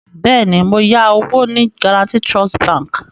Bẹ́ẹ̀ni, mo yá owó ní Guaranty Trust bank